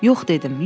Yox dedim.